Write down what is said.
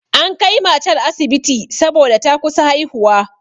An kai matar asibiti saboda ta kusa haihuwa.